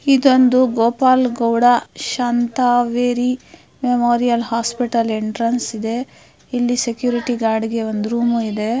ಇದೊಂದು ಗೋಪಾಲಗೌಡ ಶಾಂತವೇರಿ ಮೋದಿ hospital entrance ಇದೆ ಇಲ್ಲಿ ಸೆಕ್ಯುರಿಟಿ ಗಾರ್ಡ್ಗೆ ಒಂದು ರೂಮ್ ಇದೆ.